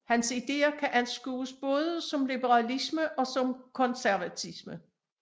Hans ideer kan anskues både som liberalisme og som konservatisme